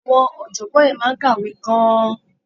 Àwọn ọ̀jọ̀gbọ́n yẹn máa ń kàwé gan-an.